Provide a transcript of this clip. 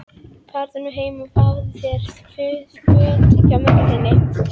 Farðu nú heim og fáðu þurr föt hjá mömmu þinni.